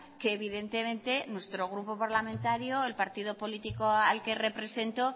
que evidentemente nuestro grupo parlamentario el partido político al que represento